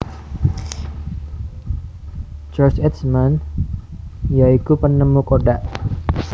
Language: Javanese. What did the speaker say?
George Eastman ya iku penemu kodak